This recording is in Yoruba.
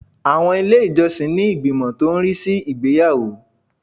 Àwọn ilé ìjọsìn ní ìgbìmọ̀ tó ń rí sí ìgbéyàwó